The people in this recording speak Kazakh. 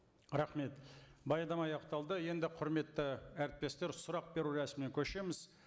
рахмет баяндама аяқталды енді құрметті әріптестер сұрақ беру рәсіміне көшеміз